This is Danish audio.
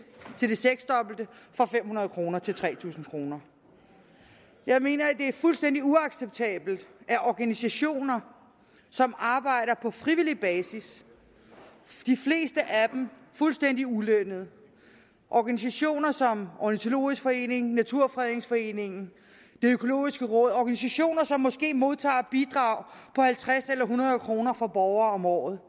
seksdobbelte fra fem hundrede kroner til tre tusind kroner jeg mener at det er fuldstændig uacceptabelt at organisationer som arbejder på frivillig basis de fleste af dem fuldstændig ulønnet organisationer som ornitologisk forening danmarks naturfredningsforening og det økologiske råd organisationer som måske modtager bidrag på halvtreds eller hundrede kroner fra borgere om året